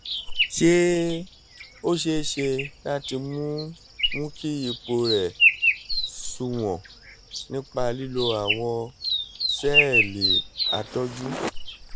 ṣé ó ṣeé ṣe láti mú mú kí ipò rẹ̀ sunwọ̀n nípa lílo àwọn sẹ́ẹ̀lì àtọ́jú?